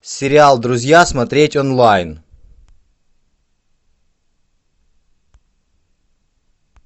сериал друзья смотреть онлайн